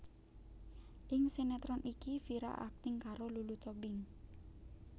Ing sinétron iki Vira akting karo Lulu Tobing